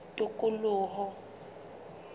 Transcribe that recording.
tikoloho